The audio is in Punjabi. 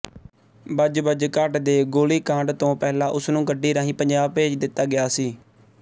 ਬੱਜਬੱਜ ਘਾਟ ਦੇ ਗੋਲੀਕਾਂਡ ਤੋਂ ਪਹਿਲਾਂ ਉਸ ਨੂੰ ਗੱਡੀ ਰਾਹੀਂ ਪੰਜਾਬ ਭੇਜ ਦਿੱਤਾ ਗਿਆ ਸੀ